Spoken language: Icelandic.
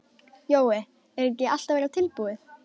Jói, er ekki allt að verða tilbúið?